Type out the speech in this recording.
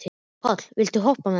Páll, viltu hoppa með mér?